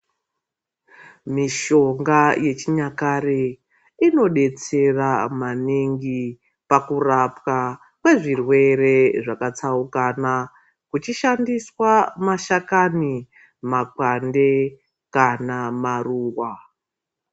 Mishonga yechinyakare inodetsera maningi pakurapwa kwezvirwere zvakatsaukana kuchishandiswa mashakani, makwande kana maruva.